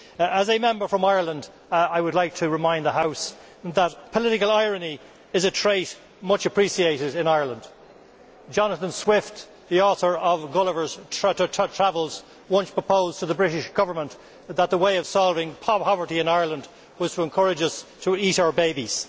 As a Member from Ireland, I would like to remind the House that political irony is a trait much appreciated in Ireland. Jonathan Swift, the author of Gulliver's Travels once proposed to the British Government that the way of solving poverty in Ireland was to encourage us to eat our babies.